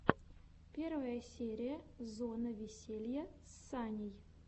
первая серия зона веселья с саней